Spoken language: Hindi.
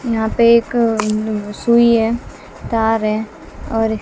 यहां पे एक सुई है तार है और--